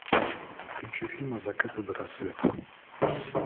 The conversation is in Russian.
включи фильм от заката до рассвета